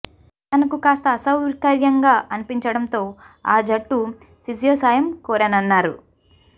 తనకు కాస్త అసౌకర్యంగా అనిపించడంతో ఆ జట్టు ఫిజియో సాయం కోరానన్నారు